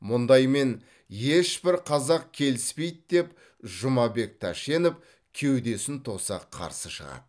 мұндаймен ешбір қазақ келіспейді деп жұмабек тәшенев кеудесін тоса қарсы шығады